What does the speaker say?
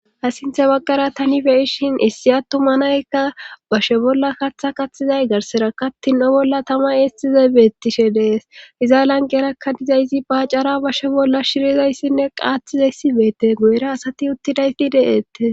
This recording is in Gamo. asinthe baggara tani beyishin issi attumanaykka bashe bolla katha kathizay garsera kattin7o bolla tama eestize beetishe dees iza lanqerakka dizaysi bacara bashe bolla shirizayssinne qaatizayssi beete goera asati uttidayi de7ette